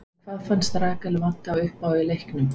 En hvað fannst Rakel vanta uppá í leiknum?